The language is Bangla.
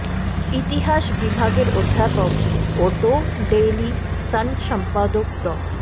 ইতিহাস বিভাগের অধ্যাপক ও দ্য ডেইলি সান সম্পাদক ড